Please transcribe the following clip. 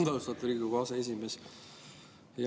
Aitäh, austatud Riigikogu aseesimees!